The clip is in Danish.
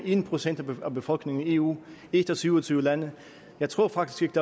en procent af befolkningen i eu et af syv og tyve lande jeg tror faktisk